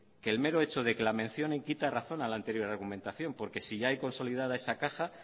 que el mero hecho de que la mencionen quita razón a la anterior argumentación porque si ya hay consolidada esa caja